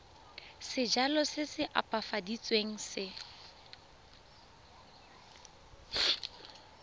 sejalo se se opafaditsweng se